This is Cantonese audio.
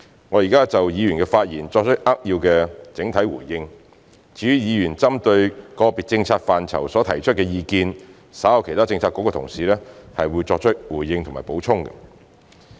我現在就議員的發言作出扼要的整體回應，至於議員針對個別政策範疇所提出的意見，稍後其他政策局的同事亦會作出回應及補充。